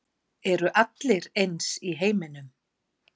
Eru allir eins í heiminum?